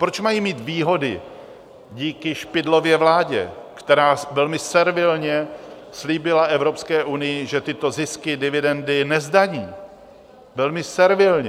Proč mají mít výhody díky Špidlově vládě, která velmi servilně slíbila Evropské unii, že tyto zisky, dividendy nezdaní, velmi servilně?